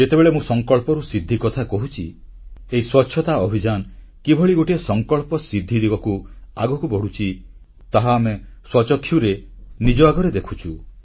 ଯେତେବେଳେ ମୁଁ ସଂକଳ୍ପରୁ ସିଦ୍ଧି କଥା କହୁଛି ଏହି ସ୍ୱଚ୍ଛତା ଅଭିଯାନ କିଭଳି ଗୋଟିଏ ସଂକଳ୍ପସିଦ୍ଧି ଦିଗକୁ ଆଗକୁ ବଢ଼ୁଛି ତାହା ଆମେ ସ୍ୱଚକ୍ଷୁରେ ନିଜ ଆଗରେ ଦେଖୁଛୁ